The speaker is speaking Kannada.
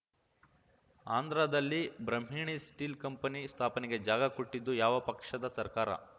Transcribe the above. ಆಂಧ್ರದಲ್ಲಿ ಬ್ರಹ್ಮಣಿ ಸ್ಟೀಲ್‌ ಕಂಪನಿ ಸ್ಥಾಪನೆಗೆ ಜಾಗ ಕೊಟ್ಟಿದ್ದು ಯಾವ ಪಕ್ಷದ ಸರ್ಕಾರ